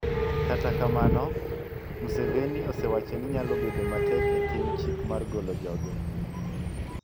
Kata kamano, Museveni osewacho ni nyalo bedo matek e tim chik mar golo joge.